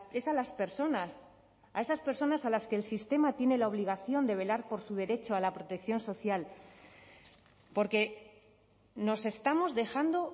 es a las personas a esas personas a las que el sistema tiene la obligación de velar por su derecho a la protección social porque nos estamos dejando